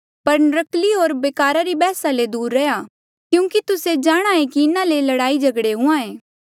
पर नर्क्कली होर बेकारा री बैहसा ले दूर रैहया क्यूंकि तुस्से जाणहां ऐें कि इन्हा ले लड़ाईझगड़े हुंहां ऐें